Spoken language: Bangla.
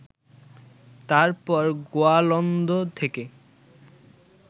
তারপর গোয়ালন্দ থেকে